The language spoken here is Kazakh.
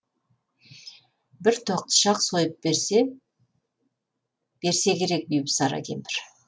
бір тоқтышақ сойып берсе керек бибісара кемпір